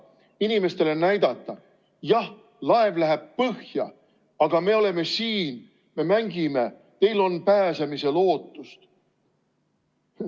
Et inimestele näidata: jah, laev läheb põhja, aga me oleme siin, me mängime, teil on pääsemise lootus.